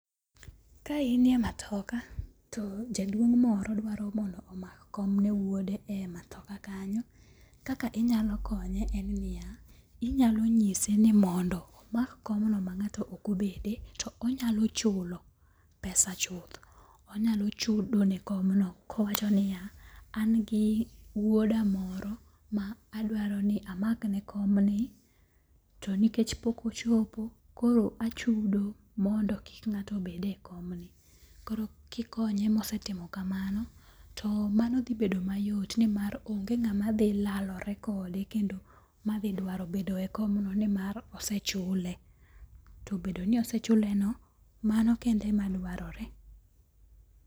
Ka in e matoka to jaduong' moro dwaro mondo omak kom ne wuode e matoka kanyo kaka inyalo konye en niya. Inyalo nyise ni mondo omak kom no ma ng'ato ok obede. To onyalo chulo pesa chuth. Onyalo chudo ne kom no kowacho niya an gi wuoda moro ma adwaro ni amak ne kom ni to nikech pok ochopo koro achudo mondo kik ng'ato bede komni. Koro kikonye mosetimo kamano to mano dhi bedo mayot nimar onge ng'ama dhi larore kendo kendo madhidwaro bedo e komni nimar ose chule. Tobedo ni osechule no, mano kende e ma dwarore.